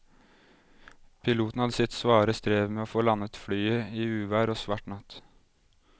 Piloten hadde sitt svare strev med å få landet flyet i uvær og svart natt.